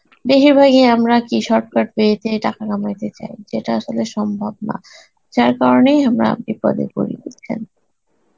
বেহির ভাগই আমরা কি shortcut way তে টাকা কামাইতে চাই, যেটা আসলে সম্ভব না. যার কারণেই আমরা বিপদে পরি, বুঝছেন?